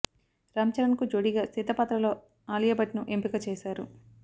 రామ్ చరణ్ కు జోడీగా సీత పాత్రలో ఆలియా భట్ ను ఎంపిక చేశారు